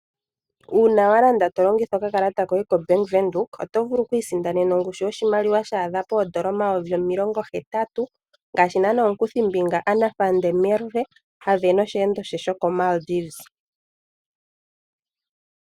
Uuna wa landa to longitha okakalata koye kombaanga yaVenduka oto vulu oku isindanena ongushu yoshimaliwa shaadha pongushu yoodola omayuvi omilongo hetatu ngaashi omukuthimbinga "Anna van der Merwe" a sindana osheendo she shoko Maldives.